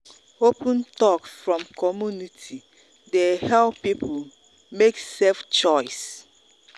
open talk from community dey help people make safe choice.